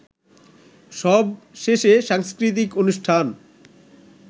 সবশেষে সাংস্কৃতিক অনুষ্ঠান